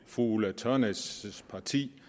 fru ulla tørnæs parti